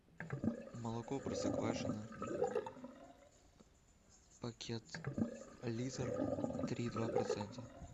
молоко простоквашино пакет литр три и два процента